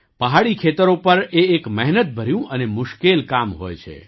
પહાડી ખેતરો પર એ એક મહેનતભર્યું અને મુશ્કેલ કામ હોય છે